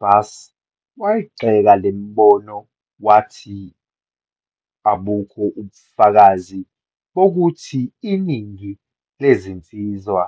Buss wayigxeka le mbono, wathi abukho ubufakazi bokuthi iningi lezinsizwa